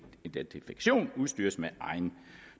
identifikation udstyres med egen